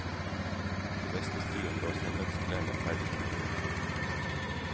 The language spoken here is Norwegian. I bestestuen lå søndagsklærne ferdig til bruk.